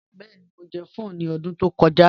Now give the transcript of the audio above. Bẹẹni, Mo jẹ̀ pho ni ọdún tó kọja